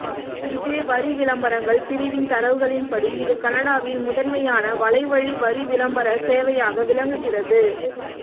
eBay வரிவிளம்பரங்கள் பிரிவின் தரவுகளின்படி இது கனடாவில் முதன்மையான வலைவழி வரிவிளம்பர சேவையாக விளங்குகிறது